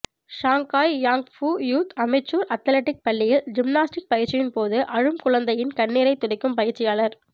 Shanghai Yangpu youth amateur athletic பள்ளியில் gymnastic பயிற்சியின்போது அழும் குழந்தையின் கண்ணீரை துடைக்கும் பயிற்சியாளர்